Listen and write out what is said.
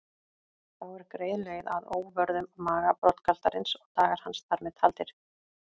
Þá er greið leið að óvörðum maga broddgaltarins og dagar hans þar með taldir.